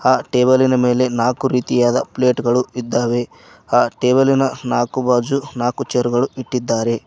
ಆ ಟೇಬಲಿ ನ ಮೇಲೆ ನಾಕು ರೀತಿಯಾದ ಪ್ಲೇಟ್ ಗಳು ಇದ್ದಾವೆ ಆ ಟೇಬಲಿ ನ ನಾಕು ಭಾಜು ನಾಕು ಚೇರ್ ಗಳು ಇಟ್ಟಿದ್ದಾರೆ.